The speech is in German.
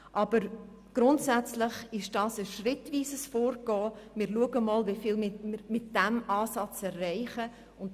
Aber grundsätzlich ist das ein schrittweises Vorgehen, indem wir schauen, wie viel wir mit diesem Ansatz erreichen können.